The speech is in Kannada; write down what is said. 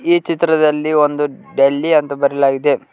ಈ ಚಿತ್ರದಲ್ಲಿ ಒಂದು ಡೆಲ್ಲಿ ಅಂತ ಬರೆಯಲಾಗಿದೆ.